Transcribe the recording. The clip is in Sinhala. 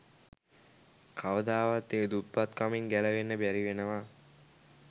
කවදාවත් ඒ දුප්පත්කමින් ගැලවෙන්න බැරි වෙනවා